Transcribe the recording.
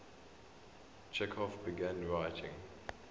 chekhov began writing